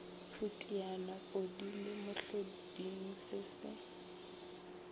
phutiane podile mohloding se se